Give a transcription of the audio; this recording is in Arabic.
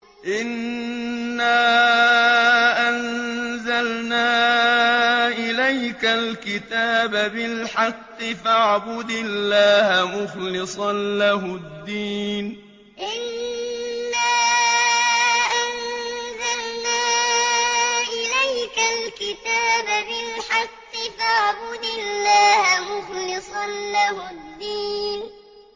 إِنَّا أَنزَلْنَا إِلَيْكَ الْكِتَابَ بِالْحَقِّ فَاعْبُدِ اللَّهَ مُخْلِصًا لَّهُ الدِّينَ إِنَّا أَنزَلْنَا إِلَيْكَ الْكِتَابَ بِالْحَقِّ فَاعْبُدِ اللَّهَ مُخْلِصًا لَّهُ الدِّينَ